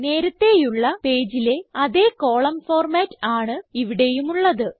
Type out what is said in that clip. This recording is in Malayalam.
നേരത്തേയുള്ള പേജിലെ അതേ കോളം ഫോർമാറ്റ് ആണ് ഇവിടെയുമുള്ളത്